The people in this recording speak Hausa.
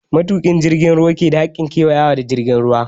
Matuƙin jirgin ruwa ke da hakkin ƙewayawa da jirgin ruwa.